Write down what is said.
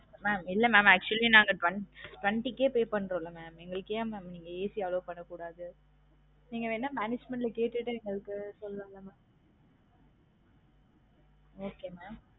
mam இல்ல mam actually நாங்க twent~ twenty K pay பண்றோம்ல mam எங்களுக்கு என் mam நீங்க AC allow பண்ண கூடாது நீங்க வேணா management ல கேட்டு எதாவது எங்களுக்கு சொல்லுங்க mam